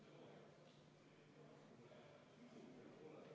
Palun võtta seisukoht ja hääletada!